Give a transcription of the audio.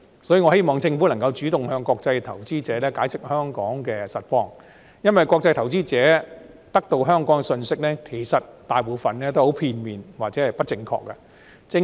所以，我希望政府能夠主動向國際投資者解釋香港的實況，因為國際投資者得到有關香港的信息，其實大部分都很片面或者不正確。